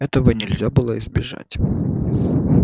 этого нельзя было избежать